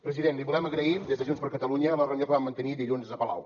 president li volem agrair des de junts per catalunya la reunió que vam mantenir dilluns a palau